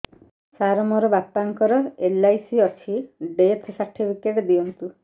ସାର ମୋର ବାପା ଙ୍କର ଏଲ.ଆଇ.ସି ଅଛି ଡେଥ ସର୍ଟିଫିକେଟ ଦିଅନ୍ତୁ